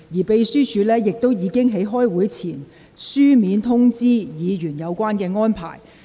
秘書處在會議前已書面通知議員有關安排。